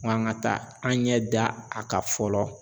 Ŋo an ŋa taa an ɲɛ da a ka fɔlɔ